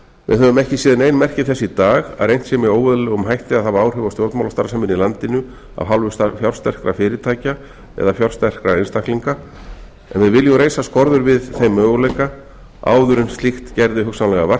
við höfum ekki séð nein merki þess í dag að reynt sé með óeðlilegum hætti að hafa áhrif á stjórnmálastarfsemina í landinu af hálfu fjársterkra fyrirtækja eða fjársterkra einstaklinga en við viljum reisa skorður við þeim möguleika áður en slíkt gerði hugsanlega vart við